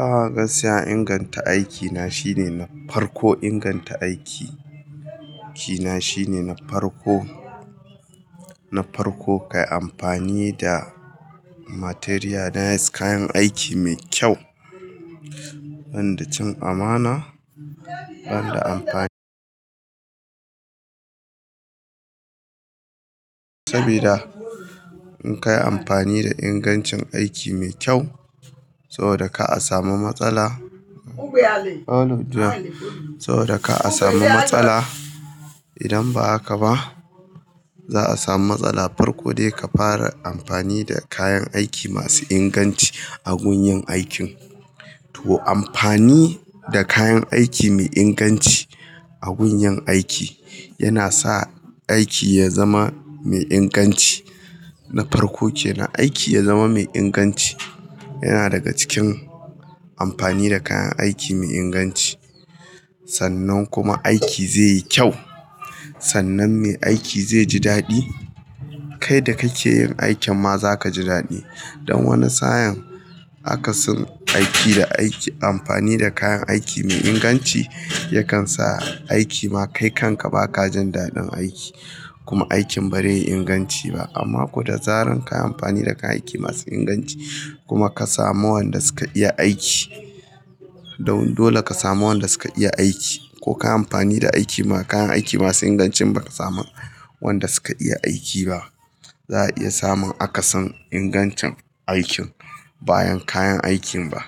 A'a, gaskiya inganta aikina shine na farko. Inganta aiki dina shine na farko, na farko ka yi amfani da material, nasu kayan aiki mai kyau, ban da cin amana, ban da amfani. Sabida in ka yi amfani da ingancin aiki mai kyau, saboda ka a samu matsala saboda ka a samu matsala. Idan ba haka ba, za a samu matsala. Farko dai ka fara amfani da kayan aiki masu inganci a gurin yin aikin. To amfani da kayan aiki mai inganci a gun yin aiki, yana sa aiki ya zama mai inganci. Na farko kenan, aiki ya zama mai inganci. Yana daga cikin amfani da kayan aiki mai inganci. Sannan kuma aiki zai yi kyau, sannan mai aiki zai ji daɗi, kai da kake yin aikin ma za ka ji daɗi. Don wani tsayin, aka son aiki da ake amfani da kayan aiki mai inganci yakan sa aiki ma kai kanka ba ka jin daɗin aiki, kuma aikin ba zai yi inganci ba. Amma ko da zaran ka yi amfani da kayan aiki masu inganci kuma ka samu wanda suka iya aiki, don dole ka samu wanda suka iya aiki, ko ka yi amfani da aiki ma kayan aiki masu inganci, in ba ka samu wanda suka iya aiki ba. Za a iya samun akasin ingancin aikin bayan kayan aikin ba.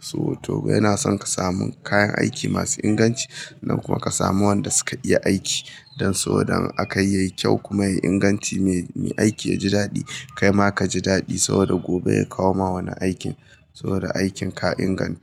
So toh yana son ka samu kayan aiki masu inganci, nan kuma ka samu wanda suka iya aiki don saboda in aka yi yayi kyau kuma yayi inganci. Mai aiki ya ji daɗi, kai ma ka ji daɗi saboda gobe ya kawo ma wani aikin saboda aikin ka inganta.